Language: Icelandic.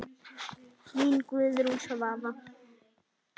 Þín Guðrún Svava.